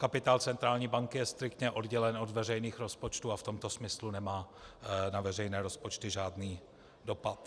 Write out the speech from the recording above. Kapitál centrální banky je striktně oddělen od veřejných rozpočtů a v tomto smyslu nemá na veřejné rozpočty žádný dopad.